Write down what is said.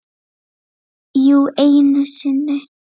Jú, einu sinni.